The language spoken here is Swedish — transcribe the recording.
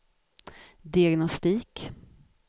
diagnostik